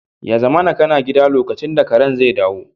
Ya zamana kana gida lokacin da karen zai dawo